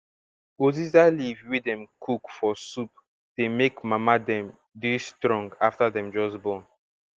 uziza leaf wey dem cook for soup dey make mama dem dey strong afta dem just born